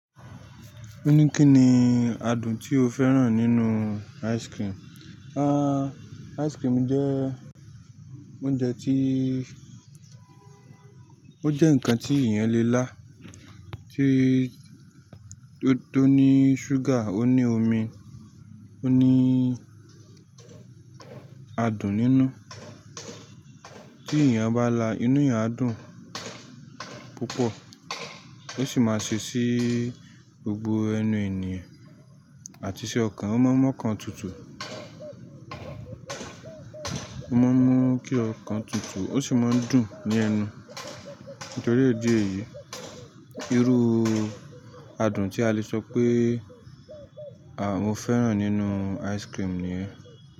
Ó ní kí ni adùn tí o fẹ́ràn nínú ice cream. À, ice cream jẹ́ oúnjẹ tí ó jẹ́ ǹkan tí èèyàn lè lá. Tí tó ní ṣúgà, ó ní omi, ó ní adùn nínú. Tí èèyàn bá lá, inú èèyàn á dùn púpọ̀. Ó sì máa ṣe sí gbogbo ẹnu ènìyàn, àti ṣi ọkàn, ó máa mọ́kàn tutù. Ó máa mú kí ọkàn tutù, ó sì máa ń dùn ní ẹnu. Nítorí ìdí èyí, irú adùn tí a lè sọ pé, à, mo fẹ́ràn nínú ice cream níyen.